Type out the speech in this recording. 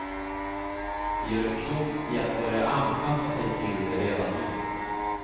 De gör klokt i att börja anpassa sig till det redan nu.